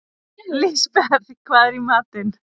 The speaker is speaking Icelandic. Lisbeth, hvað er í matinn?